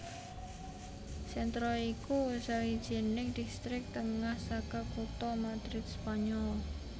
Centro iku sawijining distrik tengah saka kutha Madrid Spanyol